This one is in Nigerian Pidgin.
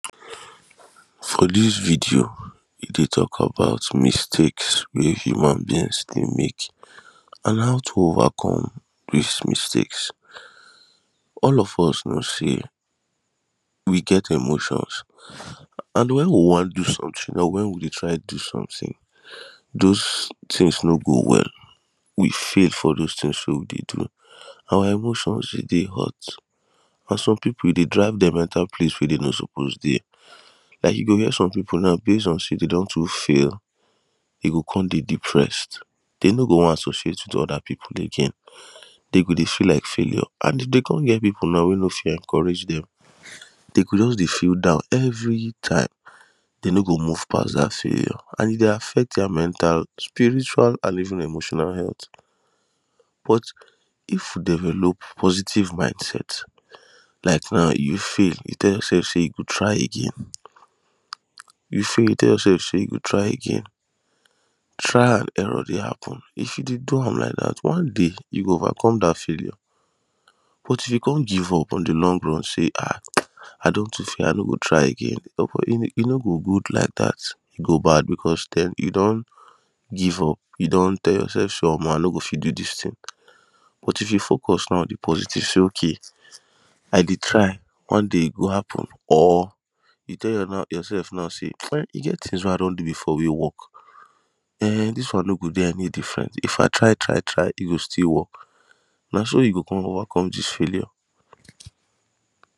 For dis video e dey tok about mistakes wey human beings dey mek an how to overcome dis mistakes. All of us know say we get emotions an wen we wam do some tin or Wen we dey try do sometin dose tins no go well we fail for dose tins wey we dey do. Our emotions fit dey hurt for some people e dey drag dem enta place wey dey no suppose dey like you go hear some people now base on say dey don too fail dey go come dey depressed dem no go wan associate wit oda people again dey go dey feel like failure and dey come get people now wey no fit encourage dem. Dey go just dey feel down every time dem no go move past dat failure and e dey affect dia mental spiritual and even emotional health but if you develop positive mindset like now you fail you tell yoursef say you go try again you fail you tell yoursef say you go try again trial an error dey happen if you dey do am like dat one day you go overcome dat failure but if you come give up on de long run say Arh I don too fail I no go try again but e no go good like dat e go bad becos den you don give up, you don tell yourself say omo I no go fit do dis tin but if you focus now de positive say okay I dey try one day e go happen or you tell yoursef now say e get tins wey I don do before wey work ehh dis one no go dey any different if I try try try e go still work na so you go overcome dis failure